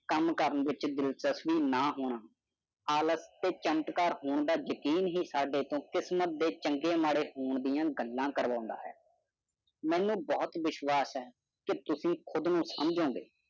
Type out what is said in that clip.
ਆਪਣੀ ਕਿਸਮਤ ਦਾ ਫੈਸਲਾ ਕਰੋ, ਇਸ ਤੇ ਵਿਸ਼ਵਾਸ ਕਰੋ, ਕੰਮ ਕਰੋ ਇਹ ਇਸ ਤੇ ਵਿਸ਼ਵਾਸ ਨਹੀਂ ਕਰੇਗਾ ਸਥਿਤੀ ਸਥਿਰ ਚਮਤਕਾਰ ਹੋਰਾਂ ਦਾ ਹੀ ਯਕੀਨ ਤਾ ਕੀਮਤ ਦੀ ਚਗੀ ਹੋਵਨ ਦੀ ਗਾਲਾ ਕਰਵਦਾ ਹੈ ਮੇਨੂ ਬਹੁਤ ਭਰੋਸੇਮੰਦ ਤੁਸੀਂ ਆਪਣੇ ਆਪ ਨੂੰ ਨਹੀਂ ਸਮਝਿਆ